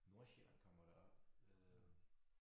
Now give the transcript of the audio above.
Nordsjælland kommer jo derop øh